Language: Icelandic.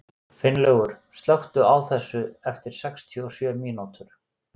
Finnlaugur, slökktu á þessu eftir sextíu og sjö mínútur.